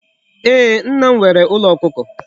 Ee, Nna m nwere Ulo Okuko